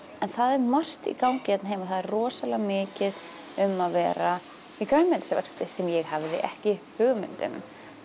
en það er margt í gangi hérna heima það er rosalega mikið um að vera í grænmetisvexti sem ég hafði ekki hugmynd um